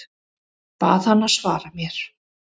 Bað hana að svara mér.